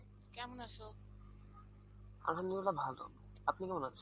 আলহমদুলিল্লাহ ভালো, আপনি কেমন আছেন?